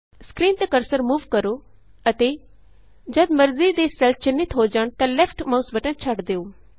screen ਤੇ cursor move ਕਰੋ ਅਤੇ ਜਦ ਮਰਜ਼ੀ ਦੇ ਸੈੱਲਸ ਚਿੰਨ੍ਹਿਤ ਹੋ ਜਾਣ ਤਾਂ ਲੈਫਟ ਮਾਉਸ ਬਟਨ ਛੱਡ ਦਿਉ